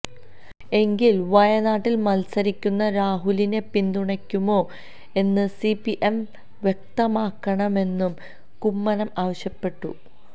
എങ്കില് വയനാട്ടില് മത്സരിക്കുന്ന രാഹുലിനെ പിന്തുണയ്ക്കുമോ എന്ന് സിപിഎം വ്യക്തമാക്കണമെന്നും കുമ്മനം ആവശ്യപ്പെട്ടു